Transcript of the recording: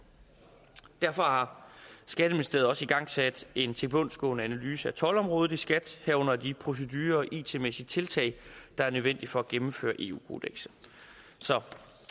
derfor har skatteministeriet også igangsat en tilbundsgående analyse af toldområdet i skat herunder de procedurer og it mæssige tiltag der er nødvendige for at gennemføre eu kodekset så